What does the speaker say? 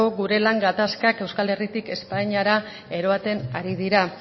gure lan gatazkak euskal herritik espainiara eramaten ari dira